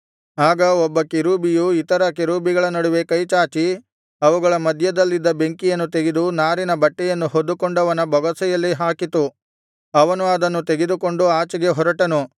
ಆಗ ಒಬ್ಬ ಕೆರೂಬಿಯು ಇತರ ಕೆರೂಬಿಗಳ ನಡುವೆ ಕೈ ಚಾಚಿ ಅವುಗಳ ಮಧ್ಯದಲ್ಲಿದ್ದ ಬೆಂಕಿಯನ್ನು ತೆಗೆದು ನಾರಿನ ಬಟ್ಟೆಯನ್ನು ಹೊದ್ದುಕೊಂಡವನ ಬೊಗಸೆಯಲ್ಲಿ ಹಾಕಿತು ಅವನು ಅದನ್ನು ತೆಗೆದುಕೊಂಡು ಆಚೆಗೆ ಹೊರಟನು